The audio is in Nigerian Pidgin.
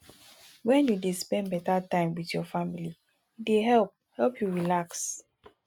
wen you dey spend beta time with your family e dey help help you relax